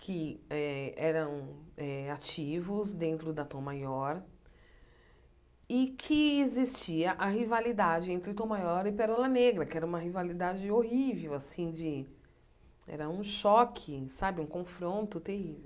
que eh eram eh ativos dentro da Tom maior, e que existia a rivalidade entre Tom maior e Perola Negra, que era uma rivalidade horrível assim de, era um choque sabe, um confronto terrível.